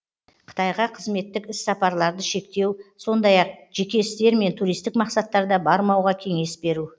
қытайға қызметтік іс сапарларды шектеу сондай ақ жеке істер мен туристік мақсаттарда бармауға кеңес беру